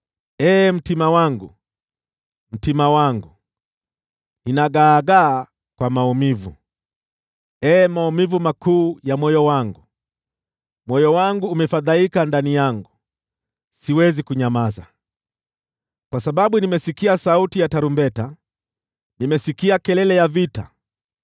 Ee mtima wangu, mtima wangu! Ninagaagaa kwa maumivu. Ee maumivu makuu ya moyo wangu! Moyo wangu umefadhaika ndani yangu, siwezi kunyamaza. Kwa sababu nimesikia sauti ya tarumbeta, nimesikia kelele ya vita.